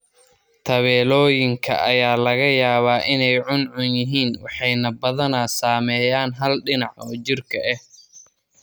Tabeelooyinka ayaa laga yaabaa inay cuncun yihiin waxayna badanaa saameeyaan hal dhinac oo jirka ah.